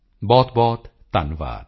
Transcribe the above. ਬਹੁਤਬਹੁਤ ਧੰਨਵਾਦ